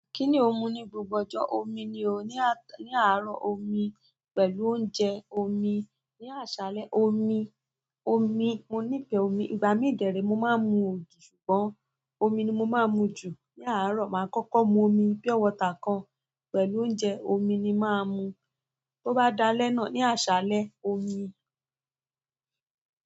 Kí ni o n mu ní gbogbo ọjọ́? Omi ni o. Ni ní àárọ̀ omi, pẹ̀lú oúnjẹ omi, ní àṣálẹ́ omi, omi, mo nífeè omi. Ìgbà mí dèérè mo máa ń mu ògì ṣùgbọ́n omi ni mo máa ń mu jù. Ni àárọ̀ máa ń kọ́kọ́ mu omi bí pure water kan pẹ̀lú oúnjẹ, omi ni máa ń mu. Bo bá dálẹ́ náà ní àṣálẹ́, omi.